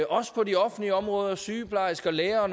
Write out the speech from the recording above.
også på de offentlige områder sygeplejersker lærere og